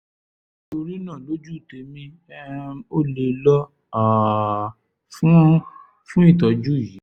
nítorí náà lójú tèmi um o lè lọ um fún fún ìtọ́jú yìí